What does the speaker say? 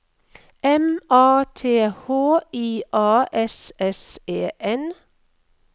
M A T H I A S S E N